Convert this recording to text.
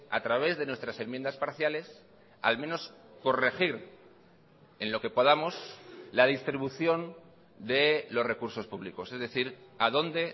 a través de nuestras enmiendas parciales al menos corregir en lo que podamos la distribución de los recursos públicos es decir a dónde